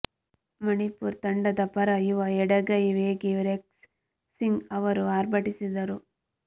ಮಣಿಪುರ್ ತಂಡದ ಪರ ಯುವ ಎಡಗೈ ವೇಗಿ ರೆಕ್ಸ್ ಸಿಂಗ್ ಅವರು ಆರ್ಭಟಿಸಿದರು